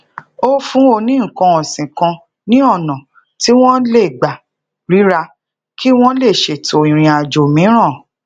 o fun oni nnkan osin kan ni ona ti won le gba rira ki wọn lè ṣètò irin ajo miiran